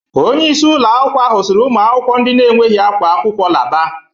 Onyeisi ụlọakwụkwọ ahụ siri ụmụakwụkwọ ndị na-enweghị ákwá akwụkwọ laaba.